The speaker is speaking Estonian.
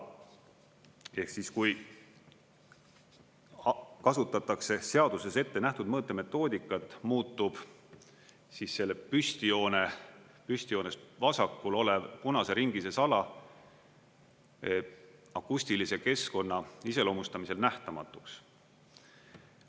Ehk siis, kui kasutatakse seaduses ettenähtud mõõtemetoodikat, muutub siis selle püstijoonest vasakul olev punase ringi sees ala akustilise keskkonna iseloomustamisel nähtamatuks.